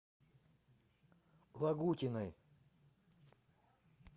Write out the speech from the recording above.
лагутиной